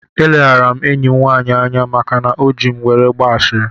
Eleghara m enyi m nwaanyị anya maka na o ji m were gbaa ashịrị